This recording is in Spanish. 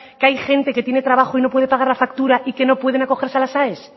que hay gente que tiene trabajo y no puede pagar la factura y que no pueden acogerse a las aes